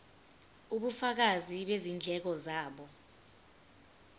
ubufakazi bezindleko zabo